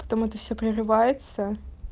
потом это все прерывается